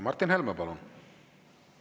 Martin Helme, palun!